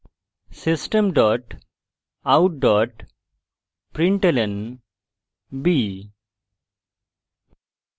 system dot out dot println b;